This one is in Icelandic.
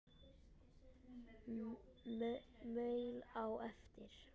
Maul á eftir.